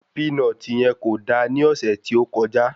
Pínọtì yen kò da ní ọ̀sẹ̀ tí ó kọjá.